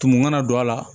Tumu kana don a la